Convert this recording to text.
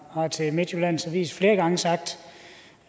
har til midtjyllands avis flere gange sagt